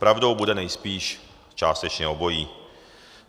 Pravdou bude nejspíš částečně obojí.